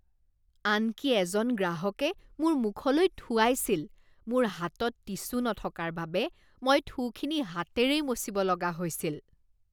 আনকি এজন গ্ৰাহকে মোৰ মুখলৈ থুৱাইছিল। মোৰ হাতত টিছু নথকাৰ বাবে মই থুখিনি হাতেৰেই মচিব লগা হৈছিল।